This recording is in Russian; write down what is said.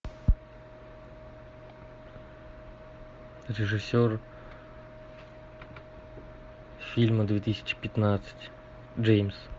режиссер фильма две тысячи пятнадцать джеймс